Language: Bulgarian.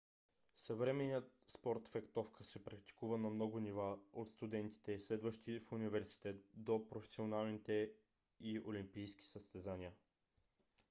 съвременният спорт фехтовка се практикува на много нива - от студентите следващи в университет до професионалните и олимпийските състезания